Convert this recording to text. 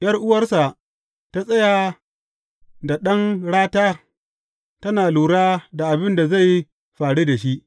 ’Yar’uwarsa ta tsaya da ɗan rata tana lura da abin da zai faru da shi.